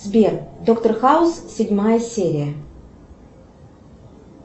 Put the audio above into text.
сбер доктор хаус седьмая серия